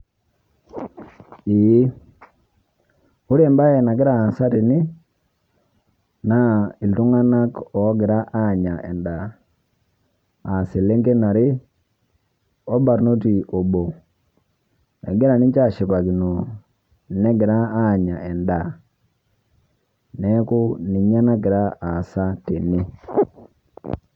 Eeh ore baye nagira aasa tene naa ltung'anak ogira anyaa endaa aa seleng'en aree olbaarnoti oboo. Egiraa ninchee ashipakino negira anyaa endaa. Neeku ninye nagira aasa tene.